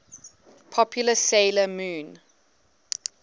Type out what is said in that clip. popular 'sailor moon